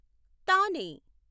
తానే